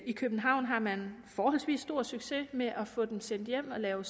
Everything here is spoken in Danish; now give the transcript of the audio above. i københavn har man forholdsvis stor succes med at få dem sendt hjem og lave